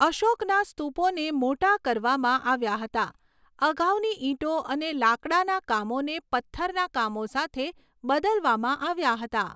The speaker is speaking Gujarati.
અશોકના સ્તૂપોને મોટા કરવામાં આવ્યા હતા, અગાઉની ઇંટો અને લાકડાના કામોને પથ્થરના કામો સાથે બદલવામાં આવ્યાં હતાં.